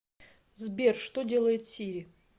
сбер что делает сири